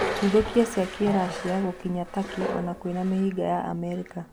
Ndũthũki cia Kĩracia gũkinya Takĩ ona kwĩna mĩhĩnga ya Amerika